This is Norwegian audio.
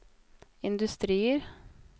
industrier